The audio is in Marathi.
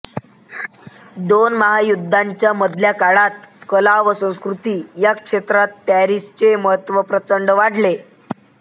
दोन महायुद्धांच्या मधल्या काळात कला व संस्कृती ह्या क्षेत्रांत पॅरिसचे महत्त्व प्रचंड वाढले